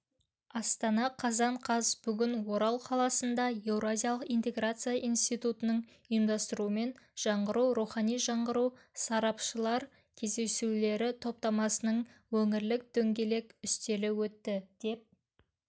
астана қазан қаз бүгін орал қаласында еуразиялық интеграция институтының ұйымдастыруымен жаңғыру рухани жаңғыру сарапшылар кездесулері топтамасының өңірлік дөңгелек үстелі өтті деп